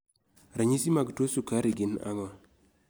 Ranyisi mag tuo sukari gin ang'o?